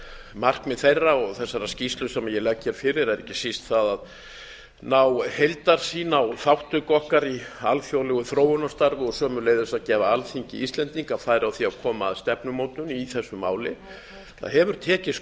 markmið þeirra og þessarar skýrslu sem ég legg fyrir er ekki síst það að ná heildarsýn á þátttöku okkar í alþjóðlegu þróunarstarfi og sömuleiðis að gefa alþingi íslendinga færi á því að koma að stefnumótun í þessu máli það hefur tekist